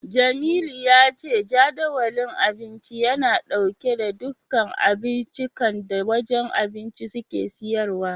Jamilu ya ce Jadawalin Abinci yana dauke da duka abincikan da wajen abinci suke siyarwa.